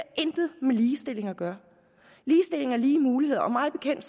intet med ligestilling at gøre ligestilling er lige muligheder og mig bekendt